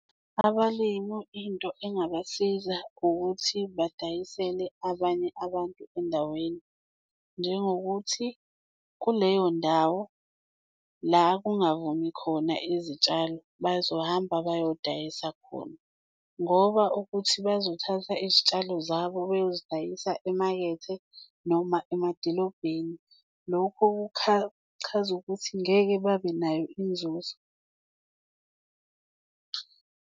Abalimi into engabasiza ukuthi badayisele abanye abantu endaweni, njengokuthi kuleyo ndawo la kungavumi khona izitshalo, bazohamba beyodayisa khona ngoba ukuthi bazothatha izitshalo zabo bayozidayisa emakethe noma emadilobheni. Lokho kuchaza ukuthi ngeke babenayo inzuzo.